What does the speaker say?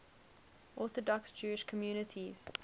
orthodox jewish communities